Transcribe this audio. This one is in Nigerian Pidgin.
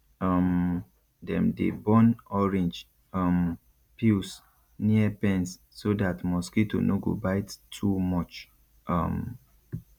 um dem dey burn orange um peels near pens so dat mosquito no go bite too much um